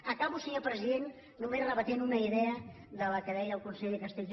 acabo senyor president només rebatent una idea que deia el conseller castells